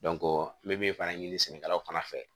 n bɛ min fana ɲini sɛnɛkɛlaw fana fɛ